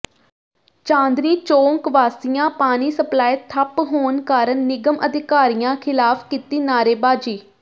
ਚਾਂਦਨੀ ਚੌਕ ਵਾਸੀਆਂ ਪਾਣੀ ਸਪਲਾਈ ਠੱਪ ਹੋਣ ਕਾਰਨ ਨਿਗਮ ਅਧਿਕਾਰੀਆਂ ਿਖ਼ਲਾਫ਼ ਕੀਤੀ ਨਾਅਰੇਬਾਜ਼ੀ